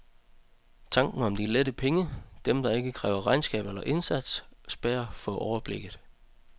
Tanken om de lette penge, dem der ikke kræver regnskab eller indsats, spærrer for overblikket.